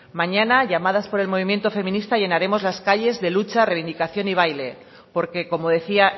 mañana llamadas por el movimiento feminista llenaremos las calles de lucha reivindicación y baile porque como decía